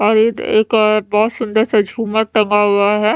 और बहुत सुंदर सा झूमर टंगा हुआ है।